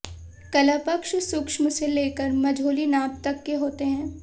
कलापक्ष सूक्ष्म से लेकर मझोली नाप तक के होते हैं